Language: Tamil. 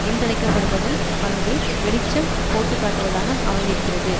என்றழைக்கப்படுவதன் பங்கை வெளிச்சம் போட்டுக்காட்டுவதாக அமைந்திருக்கிறது